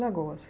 Lagoas?